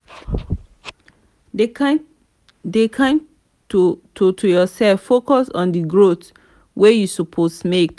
dey kind to to yourself focus on di growth wey you suppose make